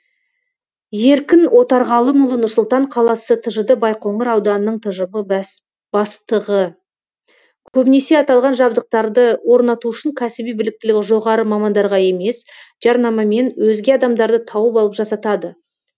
еркін отарғалымұлы нұр сұлтан қаласы тжд байқоңыр ауданының тжб бастығы көбінесе аталған жабдықтарды орнату үшін кәсіби біліктілігі жоғары мамандарға емес жарнамамен өзге адамдарды тауып алып жасатады